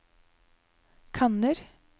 kanner